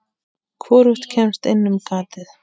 Hvorugt kemst inn um gatið.